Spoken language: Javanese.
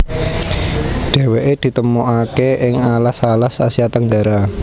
Déwéké ditemukaké ing alas alas Asia Tenggara